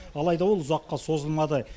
алайда ол ұзаққа созылмады